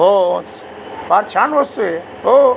हो अ फार छान वस्तूय हो --